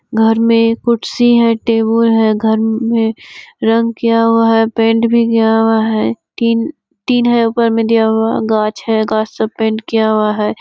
घर में कुर्सी है टेबुल है घर में रंग किया हुआ है पेंट भी किया हुआ है टीन टीन है ऊपर में दिया हुआ गाछ है गाछ सब सब पेंट किया हुआ है।